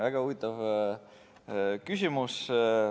Väga huvitav küsimus.